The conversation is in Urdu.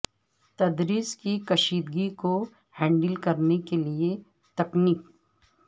تدریس کی کشیدگی کو ہینڈل کرنے کے لئے تکنیک